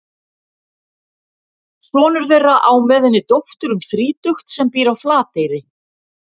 Sonur þeirra á með henni dóttur um þrítugt sem býr á Flateyri.